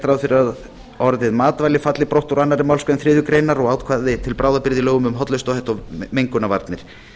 fyrir að orðið matvæli falli brott úr annarri málsgrein þriðju greinar og ákvæði til bráðabirgða í lögum um hollustuhætti og mengunarvarnir